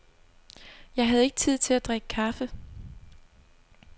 Jeg havde ikke tid til at drikke kaffe.